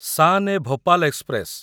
Shan e Bhopal express